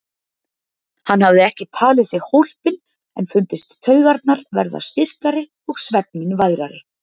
Hann hafði ekki talið sig hólpinn en fundist taugarnar verða styrkari og svefninn værari.